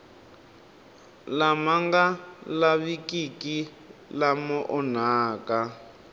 lama nga lavikiki lama onhaka